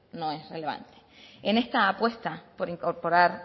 no es relevante en esta apuesta por incorporar